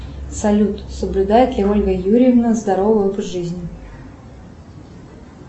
салют соблюдает ли ольга юрьевна здоровый образ жизни